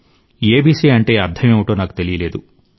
ABC అంటే అర్థం ఏమిటో నాకు తెలియలేదు